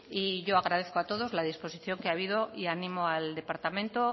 y yo agradezco a todos la disposición que ha habido y ánimo al departamento